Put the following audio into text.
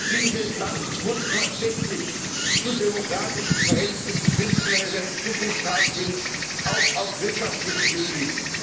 Dieses Land muss tatsächlich zu demokratischen Verhältnissen finden, wenn es eine Zukunft haben will auch auf wirtschaftlichem Gebiet.